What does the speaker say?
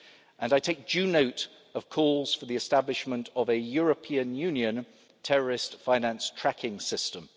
area, and I take due note of calls for the establishment of a European Union Terrorist Finance Tracking